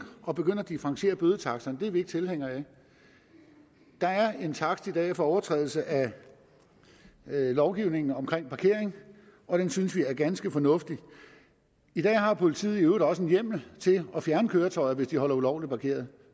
og begynde at differentiere bødetaksterne er vi ikke tilhængere af der er en takst i dag for overtrædelse af lovgivningen om parkering og den synes vi er ganske fornuftig i dag har politiet i øvrigt også en hjemmel til at fjerne køretøjer hvis de holder ulovligt parkeret